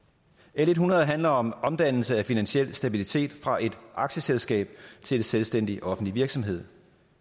l hundrede handler om omdannelse af finansiel stabilitet fra et aktieselskab til en selvstændig offentlig virksomhed